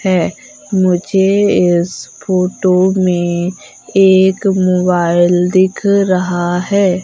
हैं मुझे इस फोटो में एक मोबाइल दिख रहा हैं।